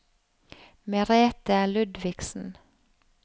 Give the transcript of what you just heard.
Merethe Ludvigsen